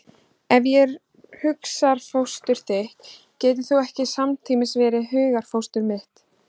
Ef ég er hugarfóstur þitt getur þú ekki samtímis verið hugarfóstur mitt.